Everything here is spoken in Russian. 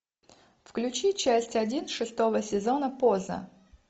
включи часть один шестого сезона поза